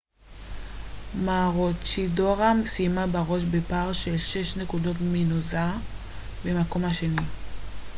מרוצ'ידורה סיימה בראש בפער של שש נקודות מנוזה במקום השני